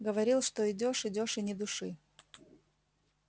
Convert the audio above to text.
говорил что идёшь идёшь и ни души